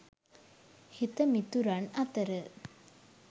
හිත මිතුරන් අතර